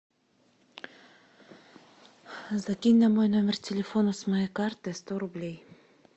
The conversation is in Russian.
закинь на мой номер телефона с моей карты сто рублей